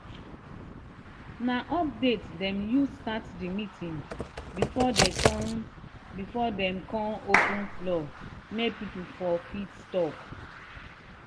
na update dem use start the meeting before dem kon before dem kon open floor make people for fit talk